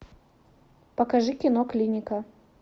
покажи кино клиника